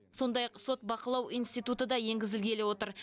сондай ақ сот бақылау институты да енгізілгелі отыр